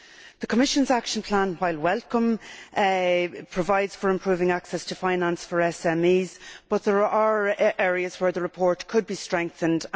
The Commission's Action Plan is welcome, in that it provides for improving access to finance for SMEs, but there are areas where the report could be strengthened.